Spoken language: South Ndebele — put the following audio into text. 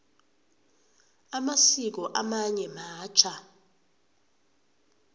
amasiko amanye matjha